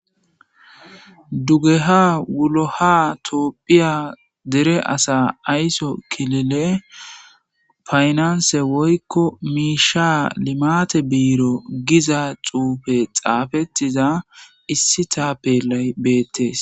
dugeha wuloha toophphiya dere asa ayso kilile faynanse woykko miisha limate biiro giza xuufe xaafettiza issi taappelay beettes